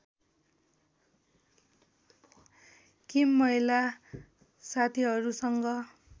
किम महिला साथीहरूसँग